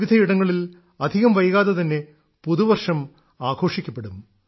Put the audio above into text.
രാജ്യത്തെ വിവിധ ഇടങ്ങളിൽ അധികം വൈകാതെ തന്നെ പുതുവർഷം ആഘോഷിക്കപ്പെടും